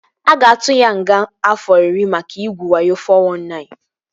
A ga-atu ya nga afọ iri maka igwu wayo (419)